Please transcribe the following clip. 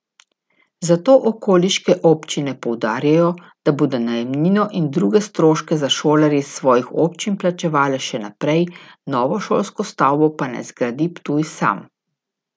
Zato okoliške občine poudarjajo, da bodo najemnino in druge stroške za šolarje iz svojih občin plačevale še naprej, novo šolsko stavbo pa naj zgradi Ptuj sam.